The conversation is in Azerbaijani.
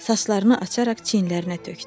Saçlarını açaraq çiyinlərinə tökdü.